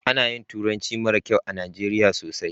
Ana yin turanci mara kyau a najeriya sosai